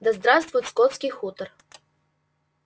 да здравствует скотский хутор